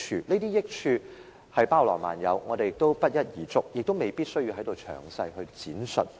這些益處包羅萬有，不一而足，也未必有需要在此詳細闡述。